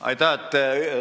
Aitäh!